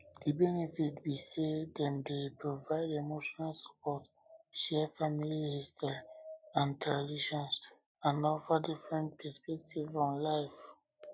di benefit be say dem dey provide emotional support share family history and traditions and offer different different perspectives on life